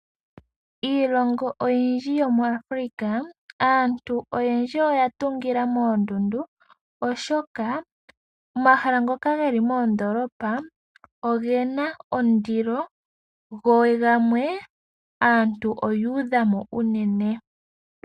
Miilongo oyindji yomu Afulika, aantu oyendji oya tungila moondundu, oshoka omahala ngoka geli moondolopa ogena ondilo, go gamwe, aantu oyu udhamo unene.